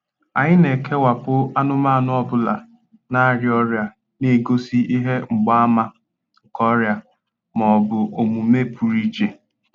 Anyị na-ekewapụ anụmanụ ọ bụla na-arịa ọrịa na-egosi ihe mgbaàmà nke ọrịa ma ọ bụ omume pụrụ iche.